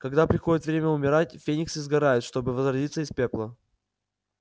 когда приходит время умирать фениксы сгорают чтобы возродиться из пепла